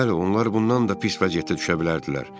Bəli, onlar bundan da pis vəziyyətdə düşə bilərdilər.